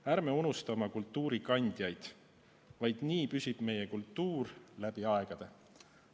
Ärme unustame oma kultuurikandjaid, ainult nii püsib meie kultuur läbi aegade.